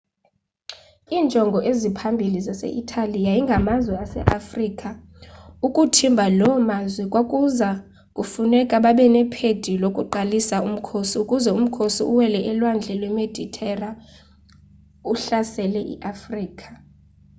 iinjongo eziphambili zase-itali yayingamazwe aseafrika ukuthimba loo mazwe kwakuza kufuneka babe nephedi yokuqalisa umkhosi ukuze umkhosi uwele ulwandle lwemeditera uhlasele iafrika